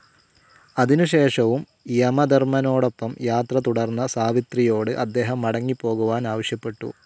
അതിനുശേഷവും യമധർമ്മനോടൊപ്പം യാത്ര തുടർന്ന സാവിത്രിയോട് അദ്ദേഹം മടങ്ങിപ്പോകുവാൻ ആവശ്യപ്പെട്ടു.